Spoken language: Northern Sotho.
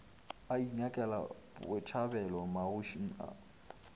ba inyakela botšhabelo magošing a